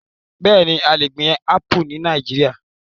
Bẹẹni, a le gbin Apu ni Nàìjíríà